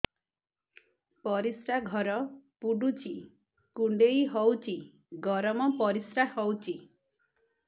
ପରିସ୍ରା ଘର ପୁଡୁଚି କୁଣ୍ଡେଇ ହଉଚି ଗରମ ପରିସ୍ରା ହଉଚି